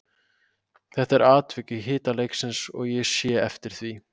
Þetta var atvik í hita leiksins og ég sé eftir því.